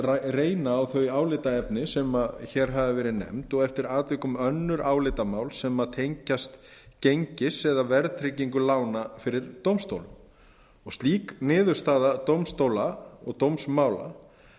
reyna á þau álitaefni sem hér hafa verið nefnd og eftir atvikum önnur álitamál sem tengjast gengis eða verðtryggingu lána fyrir dómstólum slík niðurstaða dómstóla og dómsmála